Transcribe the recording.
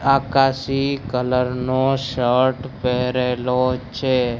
આકાશી colour નો shirt પહેરેલો છે.